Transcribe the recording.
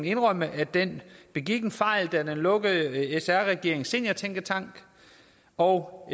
indrømme at den begik en fejl da den lukkede sr regeringens seniortænketank og